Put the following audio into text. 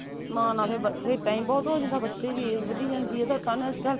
ਨਾ ਨਾ ਫੇਰ time ਬਹੁਤ ਹੋ ਜਾਂਦਾ ਬੱਚੇ ਦੀ age ਵੱਧੀ ਜਾਂਦੀ ਆ ਅੱਜਕੱਲ